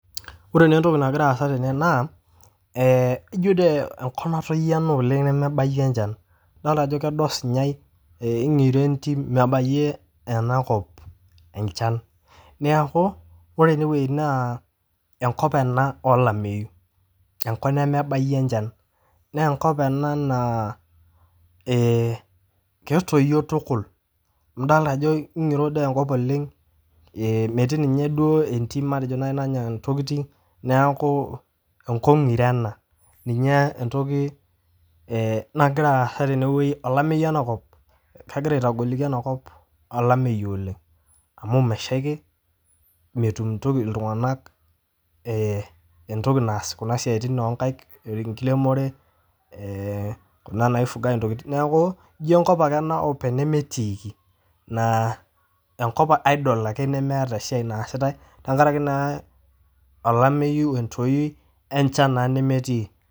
Ore naaa entoki nagira aasa tene naa ijo dei enkop natoyo ena nemebaiye enchan, idolita ajo kedo esunyei eng'iro entim, mebaiye enakop enchan, neaku ore eneweji naa enkop en olameiyu, enkop nemebaiye enchan, naa enkop ena naa ketoiyo tukul nidol ajo kegiro dei enkop oleng, metii ninye entim matejo nanyaa ntokitin naku enkop ngiro ena, ninye entoki nagira aasa tene olameiyu ana kegira aitagoliki anakop olameiyu oleng amuumeshaki metum ntoki ltunganak, entoki naasa kuna siatin onkaik, enkiremore naifugai ntokitin, naaku ijo enkop ake ena openye nemetiiki naa enkop idle ake nemeeta esiaai naasitae tengaraki naa olameiyu entoii oo inchan naa nemetii.